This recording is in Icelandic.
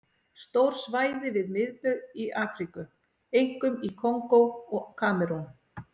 Stór svæði við miðbaug í Afríku, einkum í Kongó og Kamerún.